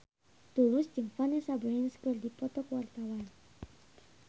Tulus jeung Vanessa Branch keur dipoto ku wartawan